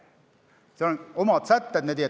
Seal on omad sätted.